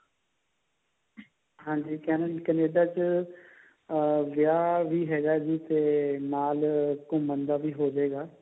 ਹਾਂਜੀ Canada ਚ ਅਹ ਵਿਆਹ ਵੀ ਹੈਗਾ ਜੀ ਤੇ ਨਾਲ ਘੁਮੰ ਦਾ ਵੀ ਹੋ ਜੇਗਾ